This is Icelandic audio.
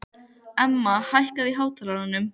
Emma, hækkaðu í hátalaranum.